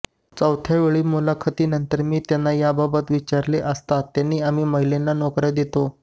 चौथ्या वेळी मुलाखतीनंतर मी त्यांना याबाबत विचारले असता त्यांनी आम्ही महिलांना नोकऱ्या देतो